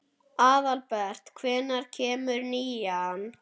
Aðalbert, hvenær kemur nían?